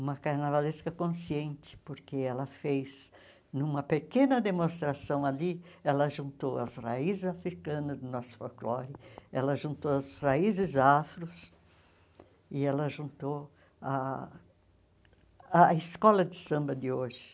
uma carnavalesca consciente, porque ela fez, numa pequena demonstração ali, ela juntou as raízes africanas do nosso folclore, ela juntou as raízes afros e ela juntou ah a escola de samba de hoje.